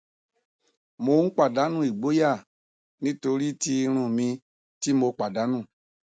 mo n padanu igboya nitori ti irun mi ti mo padanu